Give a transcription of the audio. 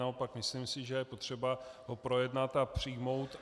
Naopak si myslím, že je potřeba ho projednat a přijmout.